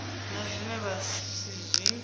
na zwine vha si zwi